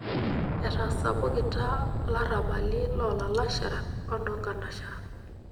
Etasapukita larabali loolalashera onkanashera.